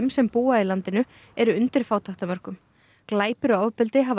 sem búa í landinu eru undir fátæktarmörkum glæpir og ofbeldi hafa